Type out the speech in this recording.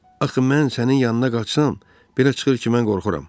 Axı mən sənin yanına qaçsam, belə çıxır ki, mən qorxuram.